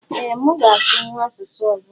Ee mu ga asụnwụ asụsụ ọzọ